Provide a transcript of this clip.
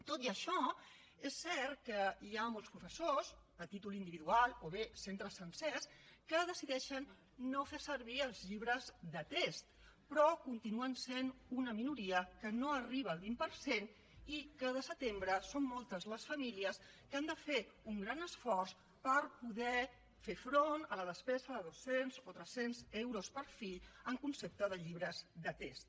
tot i això és cert que hi ha molts professors a títol individual o bé centres sencers que decideixen no fer servir els llibres de text però continuen sent una minoria que no arriba al vint per cent i cada setembre són moltes les famílies que han de fer un gran esforç per poder fer front a la despesa de dos cents o tres cents euros per fill en concepte de llibres de text